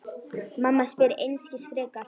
Mamma spyr einskis frekar.